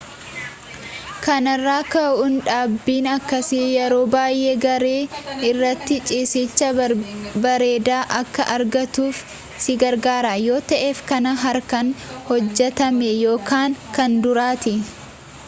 kanarraa ka'uun dhaabbiin akkasii yeroo baayyee gaarii irratti ciisiicha bareedaa akka argattuuf si gargaara yoo ta'eef kan harkaan hojjetame ykn kan duriiti